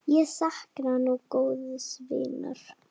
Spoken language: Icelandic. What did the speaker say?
Ég sakna nú góðs vinar.